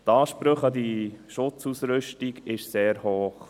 Die Ansprüche an diese Schutzausrüstung sind sehr hoch.